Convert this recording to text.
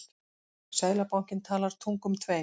Seðlabankinn talar tungum tveim